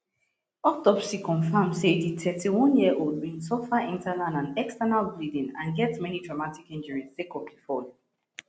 autopsy confam say di thirty-oneyearold bin suffer internal and external bleeding and get many traumatic injuries sake of di fall